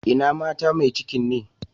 Ina mata mai cikin ne?